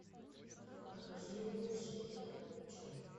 покажи мне джея роуча